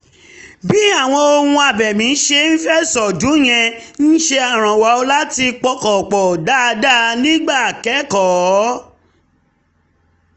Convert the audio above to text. bí àwọn ohun abẹ̀mí ṣe ń fẹ̀sọ̀ dún yẹn ń ṣèrànwọ́ láti pọkàn pọ̀ dáadáa nígbà kẹ́kọ̀ọ́